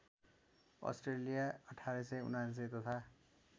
Australia १८९९ तथा